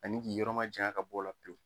Ani k'i yɔrɔ majanya ka bɔ o la pewu.